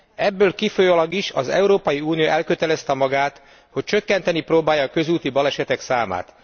Ebből kifolyólag is az Európai Unió elkötelezte magát, hogy csökkenteni próbálja a közúti balesetek számát.